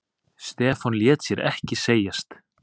Stefán lét sér ekki segjast.